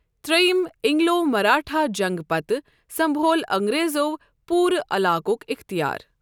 ترٛیِم اینگلو مراہٹھا جنگہٕ پتہٕ سنٛبھول انگریزو پورٕ علاقُک اِختیار۔